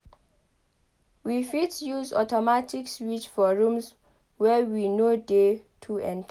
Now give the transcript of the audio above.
we fit use automatic switch for rooms wey we no dey too enter